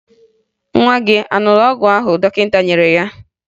Nwa gị a ṅụrụ ọgwụ ahụ dọkịta nyere ya?